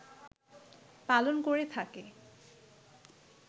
পালন করে থাকে